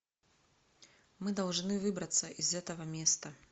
мы должны выбраться из этого места